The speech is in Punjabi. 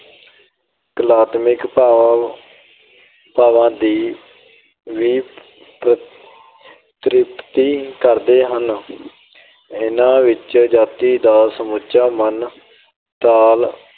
ਕਲਾਤਮਿਕ ਭਾਵਾਂ ਦੀ ਵੀ ਤ੍ਰਿਪਤੀ ਕਰਦੇ ਹਨ। ਇਹਨਾਂ ਵਿੱਚ ਜਾਤੀ ਦਾ ਸਮੁੱਚਾ ਮਨ ਤਾਲ